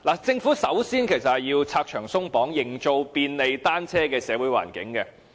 政府首先要拆牆鬆綁，營造便利單車的社會環境。